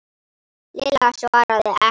Lilla svaraði ekki.